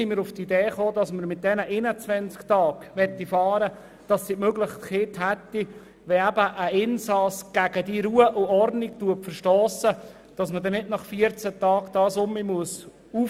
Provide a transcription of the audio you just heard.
Mit diesen 21 Tagen hätten sie die Möglichkeit, den Arrest nicht bereits nach 14 Tagen aufheben zu müssen, wenn ein Insasse gegen Ruhe und Ordnung verstösst.